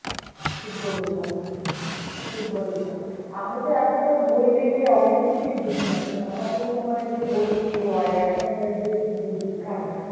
ঠিক বলেছো ঠিক বলেছো আমি তো এখনকার বই দেখলে অনেক কিছুই বুঝিনা কারণ আমাদের সময়ে যে বই ছিল আর এখনকার যে বই শিখায়,